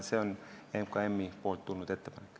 See on MKM-ist tulnud ettepanek.